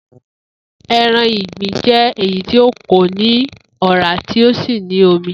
E̩ran ìgbín jé̩ èyí tí kò ní òrá tí ó sì ní omi